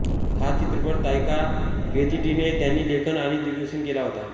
हा चित्रपट तायका वेतीटीने यांनी लेखन आणि दिग्दर्शित केला होता